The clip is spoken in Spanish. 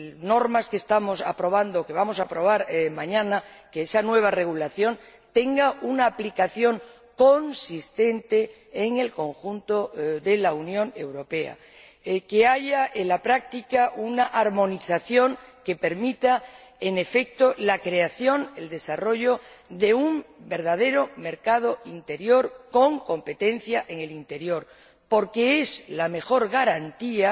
normas que vamos a aprobar mañana, que esa nueva regulación, tenga una aplicación consistente en el conjunto de la Unión Europea, que haya en la práctica una armonización que permita, en efecto, la creación, el desarrollo de un verdadero mercado interior con competencia en el interior, porque es la mejor garantía